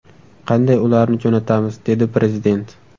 Qanday ularni jo‘natamiz?”, dedi Prezident.